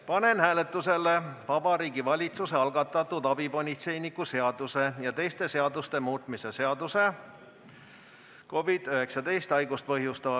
Panen hääletusele Vabariigi Valitsuse algatatud abipolitseiniku seaduse ja teiste seaduste muutmise seaduse eelnõu.